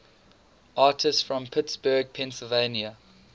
artists from pittsburgh pennsylvania